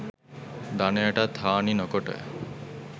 ධනයටත් හානි නොකොට